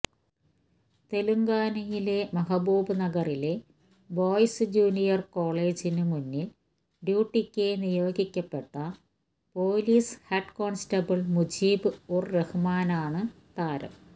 തെലങ്കാനയിലെ മഹ്ബൂബ്നഗറിലെ boys junior കോളേജിന് മുന്നില് ഡ്യൂട്ടിക്ക് നിയോഗിക്കപ്പെട്ട police head constable Mujeeb ur റഹ്മാനാണ് താരം